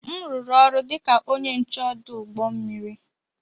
M rụrụ ọrụ dị ka onye nche ọdụ ụgbọ mmiri.